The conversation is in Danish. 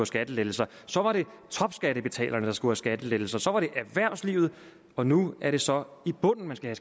skattelettelser så var det topskattebetalerne der skulle have skattelettelser så var det erhvervslivet og nu er det så i bunden man skal